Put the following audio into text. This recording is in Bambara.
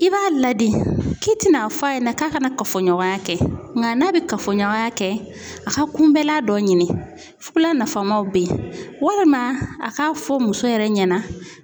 I b'a ladi K'i ti na fɔ a ɲɛna k'a kana kafoɲɔgɔnya kɛ, nga n'a be kafoɲɔgɔnya kɛ a ka kunbɛnlan dɔ ɲini .Fukulan nafamaw be yen, walima a ka fɔ muso yɛrɛ ɲɛna